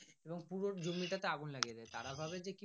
এবং পুরো জমি টা তে আগুন লাগিয়ে দেয় তারা ভাবে যে কি।